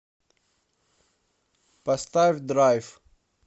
поставь драйв